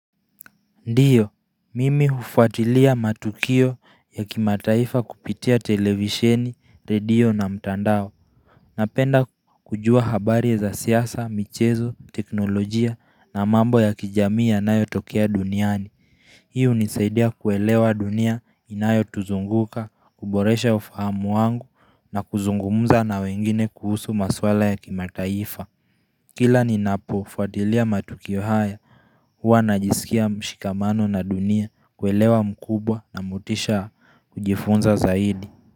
Ndio, mimi hufuatilia matukio ya kimataifa kupitia televisheni, radio na mtandao. Napenda kujua habari za siasa, michezo, teknolojia na mambo ya kijamii yanayotokea duniani. Hii hunisaidia kuelewa dunia inayotuzunguka, kuboresha ufahamu wangu na kuzungumza na wengine kuhusu masuala ya kimataifa. Kila ninapofuatilia matukio haya Huwa najisikia mshikamano na dunia, uelewa mkubwa na motisha kujifunza zaidi.